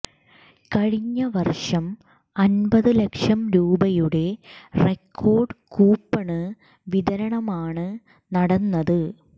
കഴിഞ്ഞ വര്ഷം അന്പത് ലക്ഷം രൂപയുടെ റെക്കോര്ഡ് കൂപ്പണ് വിതരണമാണ് നടന്നത്